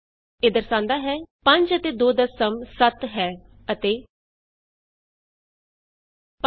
ਇਹ ਦਰਸਾਂਦਾ ਹੈ 5 ਅਤੇ 2 ਦਾ ਸਮ 700 ਹੈ ਅਤੇ sum of 5 and 2 is 700 and 5 ਅਤੇ 2 ਦਾ ਗੁਣਨਫਲ 1000 ਹੈ